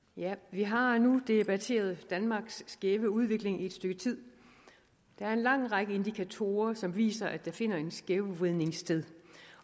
vi har nu debatteret danmarks skæve udvikling i et stykke tid der er en lang række indikatorer der viser at der finder en skævvridning sted